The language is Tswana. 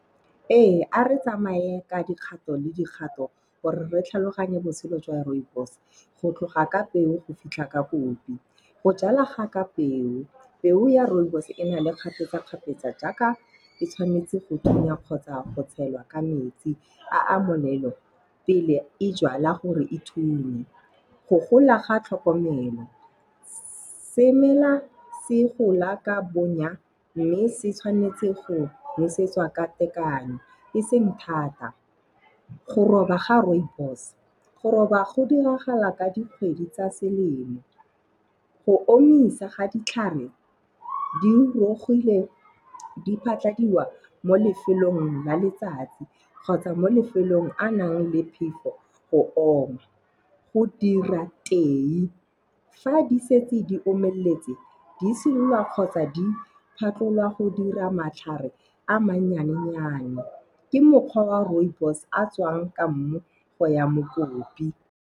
Ee a re tsamaye ka dikgato le dikgato gore re tlhaloganye botshelo jwa rooibos. Go tloga ka peo go fitlha ka kopi. Go jala ga ka peo, peo ya rooibos e na le kgapetsa-kgapetsa jaaka e tshwanetse go thunya kgotsa go tshelwa ka metsi a a molelo pele e jala gore e thunye. Go gola ga tlhokomelo semela se gola ka bonya mme se tshwanetse go nosetswa ka tekano eseng thata. Go roba ga rooibos. Go roba go diragala ka dikgwedi tsa selemo. Go omisa ga ditlhare di di phatlhadiwa mo lefelong la letsatsi kgotsa mo lefelong a nang le phefo go oma. Go dira tee. Fa di setse di omelletse di silwa kgotsa di phatlhollwa go dira matlhare a mannyane-nyane ke mokgwa wa rooibos a tswang ka mmu go ya mokopi.